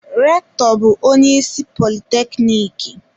Rektọ bu onye isi politekniki.